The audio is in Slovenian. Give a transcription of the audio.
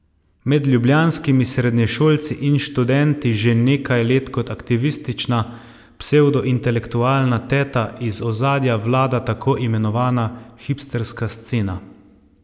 Med ljubljanskimi srednješolci in študenti že nekaj let kot aktivistična psevdointelektualna teta iz ozadja vlada tako imenovana hipsterska scena.